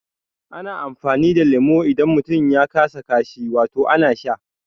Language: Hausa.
Ana amfani da leme idan mutum ya kasa kashi, wato ana sha